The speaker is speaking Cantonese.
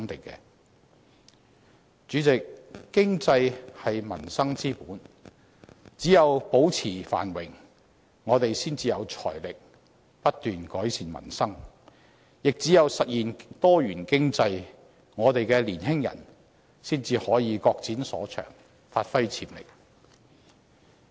主席，經濟是民生之本，只有保持繁榮，我們才有財力不斷改善民生，亦只有實現多元經濟，我們的年輕人才可以各展所長，發揮潛力。